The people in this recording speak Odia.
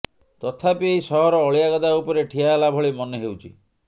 ତଥାପି ଏହି ସହର ଅଳିଆ ଗଦା ଉପରେ ଠିଆ ହେଲା ଭଳି ମନେ ହେଉଛି